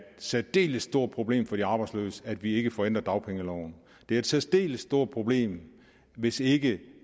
særdeles stort problem for de arbejdsløse at vi ikke får ændret dagpengeloven det er et særdeles stort problem hvis ikke det